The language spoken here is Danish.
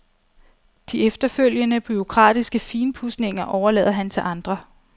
De efterfølgende bureaukratiske finpudsninger overlader han til andre.